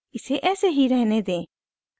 इसे ऐसे ही रहने दें